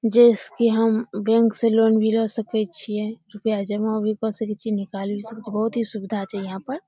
जेई से की हम बैंक से लोन भी ला सके छिये रूपया जमा भी क सके छिये निकाल भी सके छिये बहुत ही सुविधा छै यहां पे।